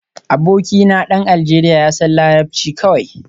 Abokina dan Aljeriya ya san larabci kawai